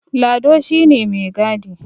Lado shi ne mai gadi